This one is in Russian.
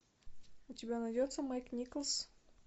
у тебя найдется майк николс